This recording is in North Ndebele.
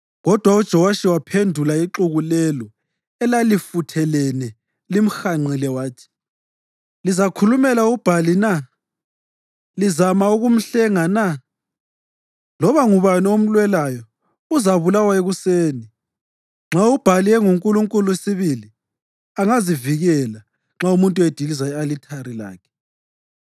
Kodwa uJowashi waphendula ixuku lelo elalifuthelene limhanqile wathi, “Lizakhulumela uBhali na? Lizama ukumhlenga na? Loba ngubani omlwelayo uzabulawa ekuseni! Nxa uBhali engunkulunkulu sibili, angazivikela nxa umuntu ediliza i-alithari lakhe.”